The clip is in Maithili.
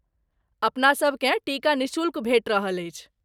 अपनासभ केँ टीका निःशुल्क भेटि रहल अछि।